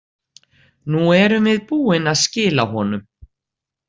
Nú erum við búin að skila honum.